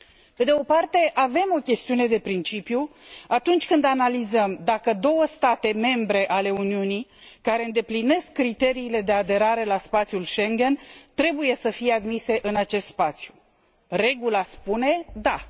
Pe de o parte, avem o chestiune de principiu atunci când analizăm dacă două state membre ale Uniunii care îndeplinesc criteriile de aderare la spațiul Schengen trebuie să fie admise în acest spațiu. Regula spune da.